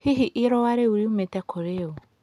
Hihi ĩrũa rĩũ rĩũmĩte kũrĩ ũ?